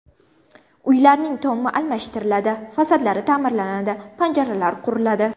Uylarning tomi almashtiriladi, fasadlari ta’mirlanadi, panjaralar quriladi.